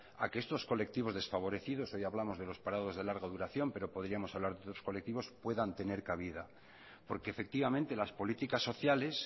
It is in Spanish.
a que estos colectivos desfavorecidos hoy hablamos de los parados de larga duración pero podríamos hablar de otros colectivos puedan tener cabida porque efectivamente las políticas sociales